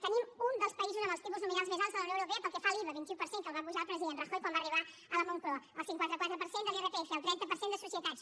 tenim un dels països amb els tipus nominals més alts de la unió europea pel que fa a l’iva vint un per cent que el va apujar el president rajoy quan va arribar a la moncloa el cinquanta quatre per cent de l’irpf el trenta per cent de societats